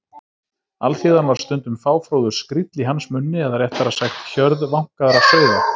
Alþýðan var stundum fáfróður skríll í hans munni eða réttara sagt: hjörð vankaðra sauða.